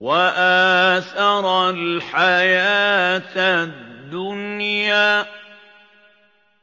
وَآثَرَ الْحَيَاةَ الدُّنْيَا